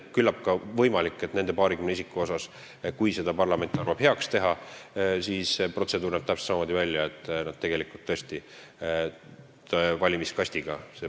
Küllap on võimalik, et nende paarikümne isiku puhul – kui parlament arvab heaks seda teha – näeb protseduur välja täpselt samamoodi, et protseduur käib valimiskastiga.